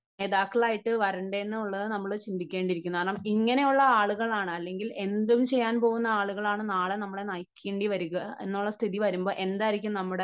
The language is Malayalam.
നേതാക്കൾ ആയിട്ട് വരേണ്ടത് എന്നുള്ളത് നമ്മൾ ചിന്തിക്കേണ്ടിയിരിക്കുന്നു. കാരണം ഇങ്ങനെയുള്ള ആളുകളാണ് അല്ലെങ്കിൽ ഇങ്ങനെ എന്തും ചെയ്യാൻ പോകുന്ന ആളുകളാണ് നാളെ നമ്മെ നയിക്കേണ്ടിവരിക എന്നുള്ള സ്ഥിതി വരുമ്പോൾ എന്തായിരിക്കും നമ്മുടെ